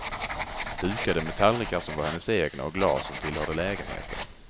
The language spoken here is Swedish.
Dukade med tallrikar som var hennes egna och glas som tillhörde lägenheten.